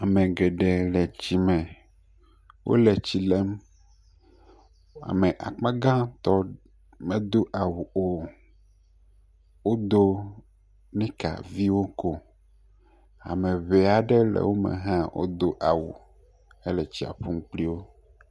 Ame geɖe le tsi me wo le tsi lem. Ame akpagãtɔ medo awu o. Wodo nika vio ko. Ame ŋee aɖe le wo me hã wodo awu hele tsia ƒum kpli wo.